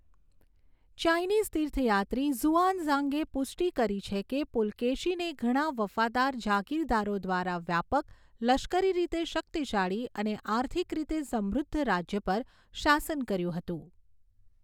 Chinese તીર્થયાત્રી ઝુઆનઝાંગે પુષ્ટિ કરી છે કે પુલકેશીને ઘણા વફાદાર જાગીરદારો દ્વારા વ્યાપક, લશ્કરી રીતે શક્તિશાળી અને આર્થિક રીતે સમૃદ્ધ રાજ્ય પર શાસન કર્યું હતું.